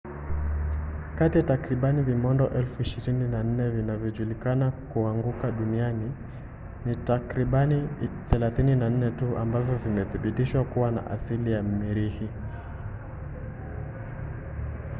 kati ya takriban vimondo 24,000 vinavyojulikana kuanguka duniani ni takribani 34 tu ambavyo vimethibitishwa kuwa na asili ya mirihi